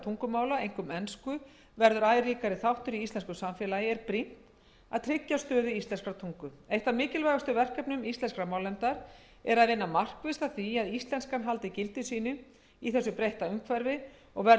tungumála einkum ensku verður æ ríkari þáttur í íslensku samfélagi er brýnt að tryggja stöðu íslenskrar tungu eitt af mikilvægustu verkefnum íslenskrar málnefndar er að vinna markvisst að því að íslenskan haldi gildi sínu í þessu breytta umhverfi og verði